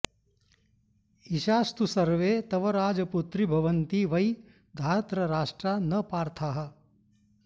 ईशास्तु सर्वे तव राजपुत्रि भवन्ति वै धार्तराष्ट्रा न पार्थाः